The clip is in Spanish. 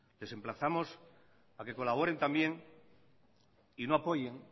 les emplazamos a que colaboren también y no apoyen